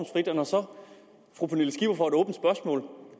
når så